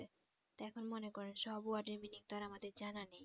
তে এখন মনে করেন সব word এর meaning তো আমাদের জানা নেই